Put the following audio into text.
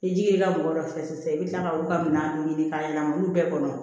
Ni ji ye mɔgɔ dɔ fɛ sisan i bi kila ka olu ka minanw ɲini ka yɛlɛma olu bɛɛ kɔnɔ